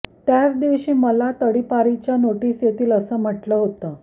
त्याचदिवशी मला तडीपारीच्या नोटीस येतील असं म्हटलं होतं